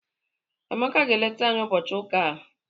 Amaka ga-eleta anyị ụbọchị ụka a.